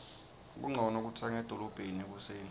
kuncono kutsenga edolobheni ekuseni